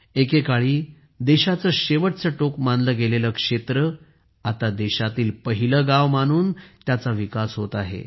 एकेकाळी देशाचे शेवटचे टोक मानले गेलेले क्षेत्र आता देशातील पहिले गाव मानून त्याचा विकास होत आहे